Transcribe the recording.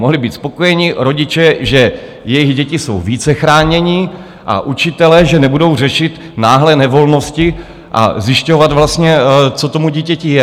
Mohli být spokojeni rodiče, že jejich děti jsou více chráněny, a učitelé, že nebudou řešit náhlé nevolnosti a zjišťovat vlastně, co tomu dítěti je.